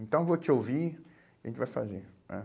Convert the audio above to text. Então eu vou te ouvir e a gente vai fazer, né?